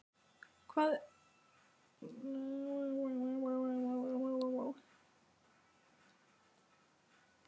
Hvar er epla- og appelsínulyktin sem fyllti húsið fyrir jólin?